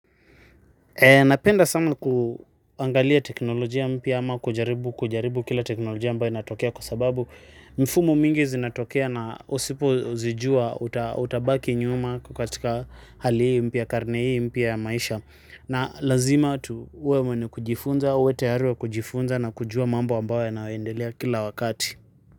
Napenda sama kuangalia teknolojia mpya ama kujaribu kujaribu kila teknolojia ambayo inatokea kwa sababu mfumo mingi zinatokea na usipo zijua utabaki nyuma katika hali hii mpya karne hii mpya ya maisha na lazima tuwe mwenye kujifunza, uwe tayari wa kujifunza na kujua mambo ambayo yanayoendelea kila wakati.